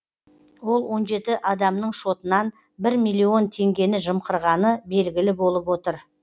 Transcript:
ол он жеті адамның шотынан бір миллион теңгені жымқырғаны белгілі болып отыр